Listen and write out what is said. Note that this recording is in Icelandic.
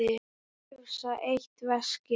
Hrifsa eitt veskið.